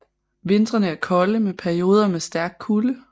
Vintrene er kolde med perioder med stærk kulde